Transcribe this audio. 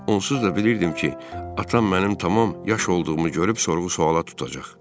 Onsuz da bilirdim ki, atam mənim tam yaş olduğumu görüb sorğu-sualla tutacaq.